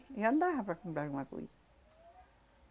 Já dava para comprar alguma coisa.